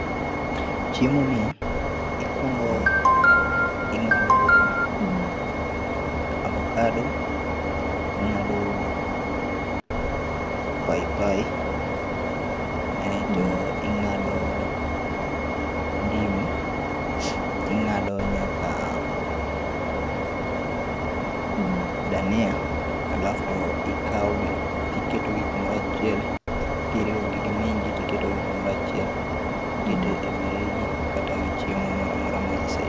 Chiemo ni ikuongo ing'ado avokado, ing'ado paipai aito ing'ado ndim ting'ado nyaka dhania alaf to ikao gi tiketogi kumoro achiel kiriwo gi gi minji tiketogi kumoro achiel tiketo ewi reji kata ewi chiemo moro amora ma ise